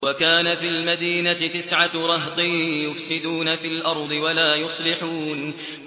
وَكَانَ فِي الْمَدِينَةِ تِسْعَةُ رَهْطٍ يُفْسِدُونَ فِي الْأَرْضِ وَلَا يُصْلِحُونَ